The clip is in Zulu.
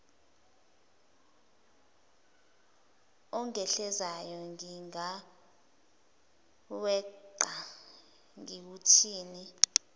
ongehlelayo ngingaweqa ngiwuthini